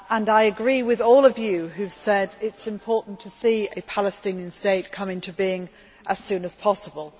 I agree with all of you who have said that it is important to see a Palestinian state come into being as soon as possible.